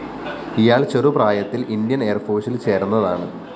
ഇയാള്‍ ചെറുപ്രായത്തില്‍ ഇന്ത്യന്‍ എയര്‍ഫോഴ്‌സില്‍ ചേര്‍ന്നതാണ്